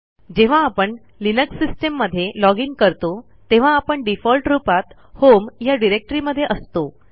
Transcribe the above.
जेव्हा आपण Linux system मध्ये लॉजिन करतो तेव्हा आपणdefault रूपात होम या डिरेक्टरी मध्ये असतो